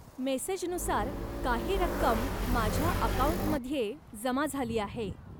मेसेजनुसार काही रक्कम माझ्या अकाऊंटमध्ये जमा झाली आहे.